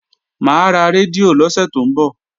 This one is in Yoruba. Mà á ra rédíò lọ́sẹ̀ tó ń bọ̀